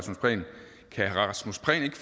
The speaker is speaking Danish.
rasmus prehn ikke